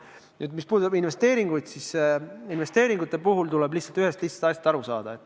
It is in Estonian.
Nüüd, mis puudutab investeeringuid, siis investeeringute puhul tuleb lihtsalt ühest lihtsast asjast aru saada.